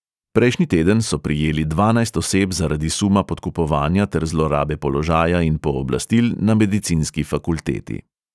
Prejšnji teden so prijeli dvanajst oseb zaradi suma podkupovanja ter zlorabe položaja in pooblastil na medicinski fakulteti.